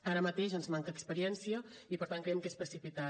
ara mateix ens manca experiència i per tant creiem que és precipitat